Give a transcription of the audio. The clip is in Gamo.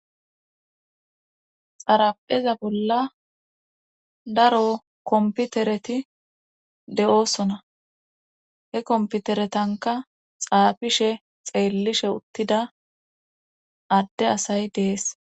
xarapheza bolla daro komputereti de7oosona he komputeretanka xaafishe xeellishe uttida adde asay dees